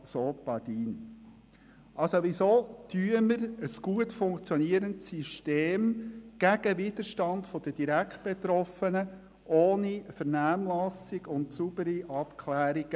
Weshalb verabschieden wir ein gut funktionierendes System gegen den Widerstand der Direktbetroffenen ohne Vernehmlassung und saubere Abklärungen?